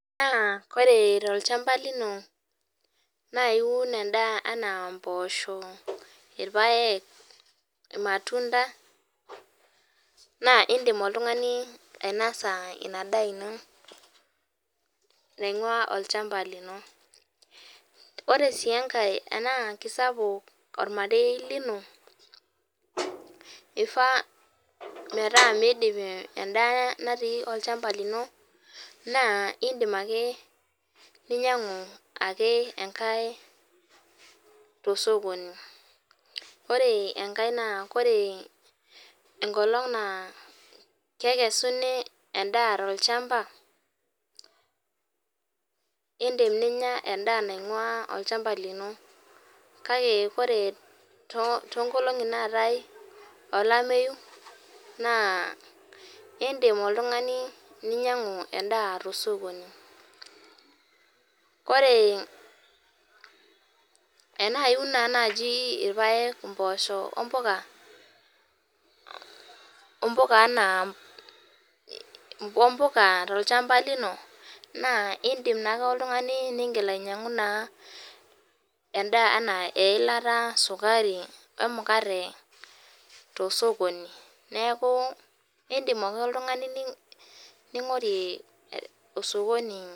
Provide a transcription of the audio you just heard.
Koree tolchamba lino na iun endaa naa mposho ,irpaek irmatunda na indim oltungani ainosa inadaa ino naingua olchamba lino ore si enkae tanaa kisapuk ormarei lino kifaa metaa kidip endaa natii olchamba lino naabindim akebninyangu ake enkae tosokoni ore enkae naa ore enkolong na kekesunibendaa tolchamba indim ninya endaa naingua olchamba lino orw nkolongi natii olameyu indim oltungani ainyangu endaa tosokoni ore ena iun naji irpaek mpoosho ompuka ompuka tolchamba lino na indim. Ake oltungani nigil ainyangu eilata sukari emukate tosokoni neaku indim ake oltungani ningorie osokoni.